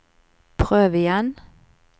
prøv igjen